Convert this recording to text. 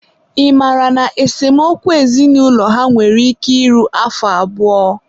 ị mara na esemokwu ezinaụlọ ha nwere ike iru afọ abụọ?